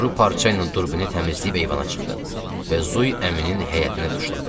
Quru parça ilə turbini təmizləyib eyvana çıxdım və Zuy əminin həyətinə tuşladım.